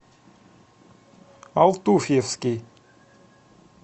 алтуфьевский